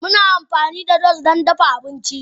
Muna amfani da gas don dafa abinci.